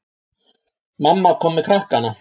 Mamma kom með krakkana.